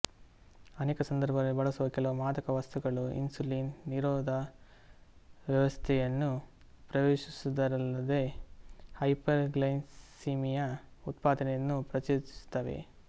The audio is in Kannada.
ಅನೇಕ ಸಂದರ್ಭಗಳಲ್ಲಿ ಬಳಸುವ ಕೆಲವು ಮಾದಕ ವಸ್ತುಗಳು ಇನ್ಸುಲಿನ್ ನಿರೋಧ ವ್ಯವಸ್ಥೆಯನ್ನು ಪ್ರವೇಶಿಸುವುದಲ್ಲದೆ ಹೈಪರ್ ಗ್ಲೈಸಿಮಿಯಾ ಉತ್ಪಾದನೆಯನ್ನು ಪ್ರಚೋದಿಸುತ್ತವೆ